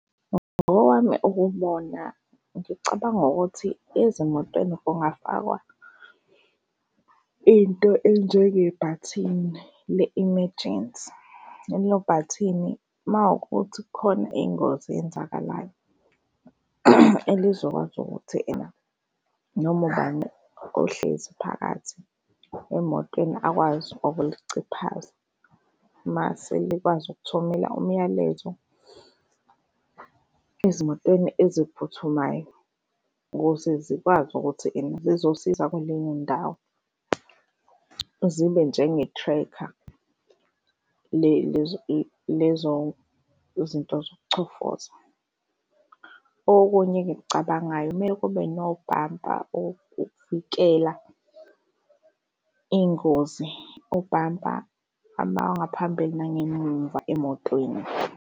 Ngokwami ukubona ngicabanga ukuthi ezimotweni kungafakwa into enjengebhathini le-emergency lelo bhathini uma wukuthi kukhona ingozi eyenzakalayo lizokwazi ukuthi ena noma ubani ohlezi phakathi emotweni akwazi ukuliciphaza, mase likwazi ukuthumela umyalezo ezimotweni eziphuthumayo ukuze zikwazi ukuthi ene zizosiza kuleyo ndawo zibe njenge-tracker lezo izinto zokuchofoza. Okunye engikucabangayo kumele kube nobhampa okuvikela ingozi ubhampa abangaphambili nangemuva emotweni.